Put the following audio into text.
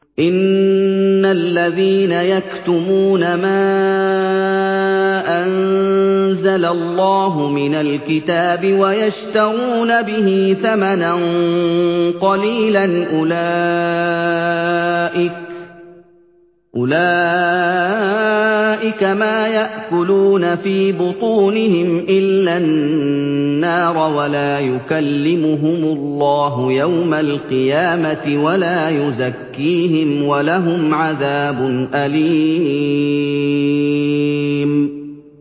إِنَّ الَّذِينَ يَكْتُمُونَ مَا أَنزَلَ اللَّهُ مِنَ الْكِتَابِ وَيَشْتَرُونَ بِهِ ثَمَنًا قَلِيلًا ۙ أُولَٰئِكَ مَا يَأْكُلُونَ فِي بُطُونِهِمْ إِلَّا النَّارَ وَلَا يُكَلِّمُهُمُ اللَّهُ يَوْمَ الْقِيَامَةِ وَلَا يُزَكِّيهِمْ وَلَهُمْ عَذَابٌ أَلِيمٌ